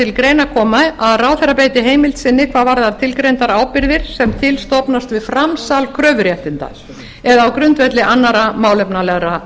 að til greina komi að ráðherra beiti heimild sinni hvað varðar tilgreindar ábyrgðir sem til stofnast við framsal kröfuréttinda eða á grundvelli annarra málefnalegra